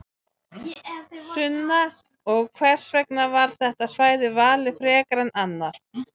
Sunna: Og hvers vegna var þetta svæði valið frekar en annað?